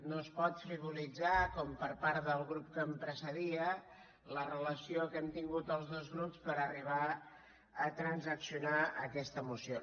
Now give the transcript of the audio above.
no es pot frivolitzar com per part del grup que em precedia la relació que hem tingut els dos grups per arribar a transaccionar aquesta moció